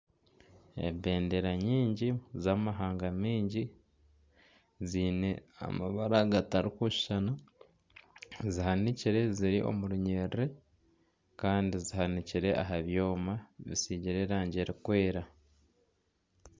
Ebendera nyingi z'amahanga miingi ziine amabara gatari kushushana zihanikyire ziri omu runyerere Kandi zihanikire aha byooma bisiigire erangi erikwera.